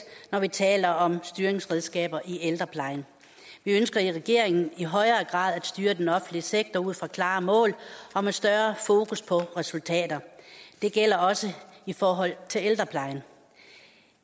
når vi taler om styringsredskaber i ældreplejen vi ønsker i regeringen i højere grad at styre den offentlige sektor ud fra klare mål og med større fokus på resultater det gælder også i forhold til ældreplejen